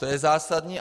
To je zásadní.